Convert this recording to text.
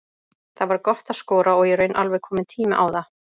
Það var gott að skora og í raun alveg kominn tími á það.